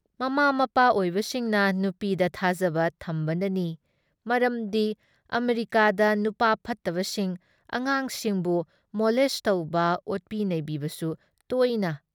ꯃꯃꯥ ꯃꯄꯥ ꯑꯣꯏꯕꯁꯤꯡꯅ ꯅꯨꯄꯤꯗ ꯊꯥꯖꯕ ꯊꯝꯕꯅꯅꯤ ꯃꯔꯝꯗꯤ ꯑꯃꯦꯔꯤꯀꯥꯗ ꯅꯨꯄꯥ ꯐꯠꯇꯕꯁꯤꯡ ꯑꯉꯥꯡꯁꯤꯡꯕꯨ ꯃꯣꯂꯦꯁꯠ ꯇꯧꯕ ꯑꯣꯠꯄꯤ ꯅꯩꯕꯤꯕꯁꯨ ꯇꯣꯏꯅ